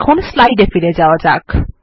এখন স্লাইড এ ফিরে যাওয়া যাক